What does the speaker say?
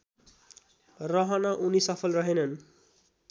रहन उनी सफल रहेनन्